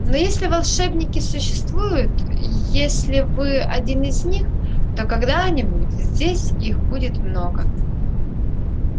но если волшебники существуют если вы один из них то когда-нибудь здесь их будет много